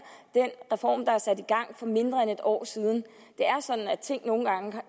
den reform der er sat i gang for mindre end et år siden det er sådan at ting nogle gange